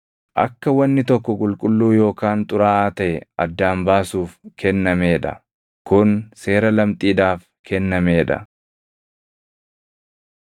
akka wanni tokko qulqulluu yookaan xuraaʼaa taʼe addaan baasuuf kennamee dha. Kun seera lamxiidhaaf kennamee dha.